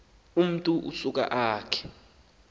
umntu usuka akhe